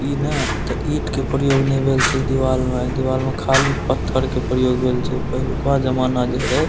इ ना एता ईट के प्रयोग ने भेल छै दीवाल में ए दीवाल में खाली पत्थर के प्रयोग भेल छै पहलूका जमाना जे रहे --